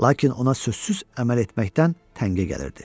Lakin ona sözsüz əməl etməkdən təngə gəlirdi.